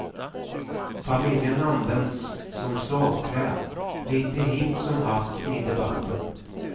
Familjen används som slagträ, lite hipp som happ, i debatten.